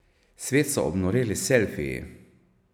Svet so obnoreli selfiji.